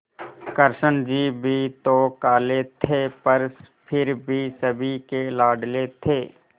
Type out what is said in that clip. कृष्ण जी भी तो काले थे पर फिर भी सभी के लाडले थे